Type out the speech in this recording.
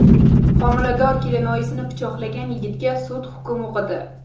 Homilador kelinoyisini pichoqlagan yigitga sud hukm o‘qidi.